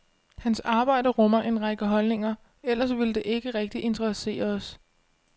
Hans arbejde rummer en række holdninger, ellers ville det ikke rigtig interessere os.